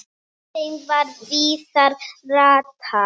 þeim er víða ratar